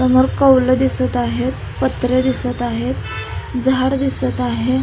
समोर कौल दिसत आहेत पत्रे दिसत आहेत झाडं दिसत आहे.